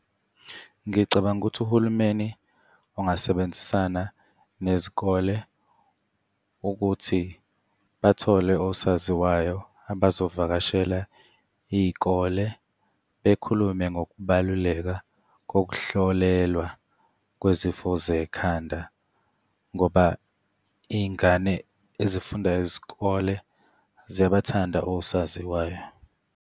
Ngicabanga ukuthi uhulumeni ungasebenzisana nezikole ukuthi bathole osaziwayo abazovakashela iy'kole bekhulume ngokubaluleka kokuhlolelwa kwezifo zekhanda ngoba iy'ngane ezifunda isikole ziyabathanda osaziwayo.